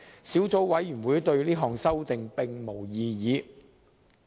小組委員會對這項修訂並無異議。